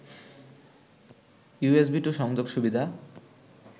USB two সংযোগ সুবিধা